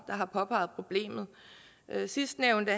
har påpeget problemet sidstnævnte